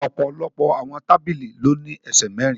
Ọ̀pọ̀lọpọ̀ àwọn tábìlì ló ní ẹsẹ̀ mẹ́rin